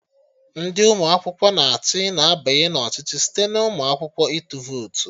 Ndị ụmụ akwụkwọ na achị na-abanye na ọchịchị site n'ụmụ akwụkwọ ịtụ votu